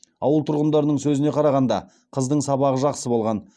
ауыл тұрғындарының сөзіне қарағанда қыздың сабағы жақсы болған